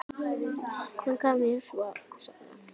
Hann gaf mér svo safnið.